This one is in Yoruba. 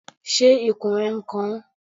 Ṣé ikùn rẹ n kan ọ?